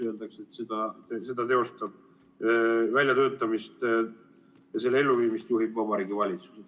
Öeldakse, et väljatöötamist teostab ja selle elluviimist juhib Vabariigi Valitsus.